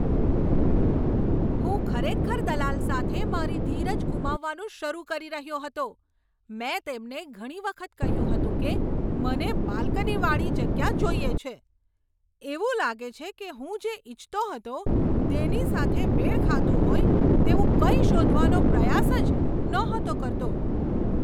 હું ખરેખર દલાલ સાથે મારી ધીરજ ગુમાવવાનું શરૂ કરી રહ્યો હતો. મેં તેમને ઘણી વખત કહ્યું હતું કે મને બાલ્કનીવાળી જગ્યા જોઈએ છે. એવું લાગે છે કે હું જે ઇચ્છતો હતો તેની સાથે મેળ ખાતું હોય તેવું કંઈ શોધવાનો પ્રયાસ જ નહોતો કરતો.